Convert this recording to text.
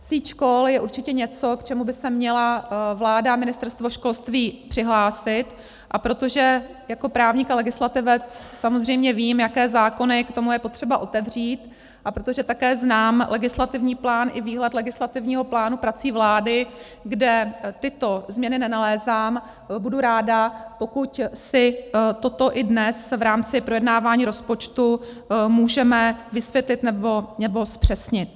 Síť škol je určitě něco, k čemu by se měla vláda a Ministerstvo školství přihlásit, a protože jako právník a legislativec samozřejmě vím, jaké zákony k tomu je potřeba otevřít, a protože také znám legislativní plán i výhled legislativního plánu prací vlády, kde tyto změny nenalézám, budu ráda, pokud si toto i dnes v rámci projednávání rozpočtu můžeme vysvětlit nebo zpřesnit.